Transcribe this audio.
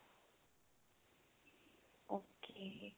okay